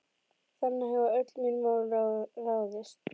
Þannig hafa öll mín mál ráðist.